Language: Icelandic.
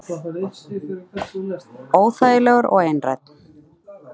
Óþægilegur og einrænn.